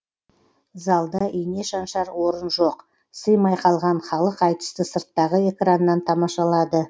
залда ине шаншар орын жоқ сыймай қалған халық айтысты сырттағы экраннан тамашалады